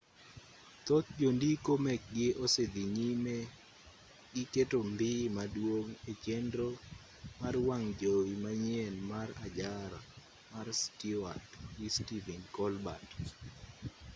thoth jondiko mekgi osedhi nyime gi keto mbii maduong' e chenro mar wang' jowi manyien mar ajara mar stewart gi stephen colbert